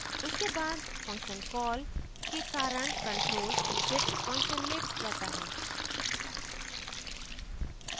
उसके बाद function call के कारण control exit _ function में जाता है